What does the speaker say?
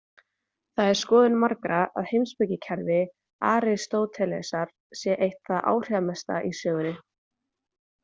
Það er skoðun margra að heimspekikerfi Aristótelesar sé eitt það áhrifamesta í sögunni.